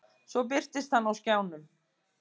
Svo birtist hann á skjánum.